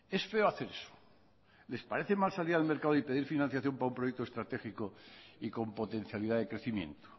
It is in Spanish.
es feo hacer eso les parece mal salir al mercado y pedir financiación para un proyecto estratégico y con potencialidad de crecimiento